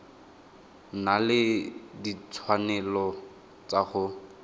na le ditshwanelo tsa go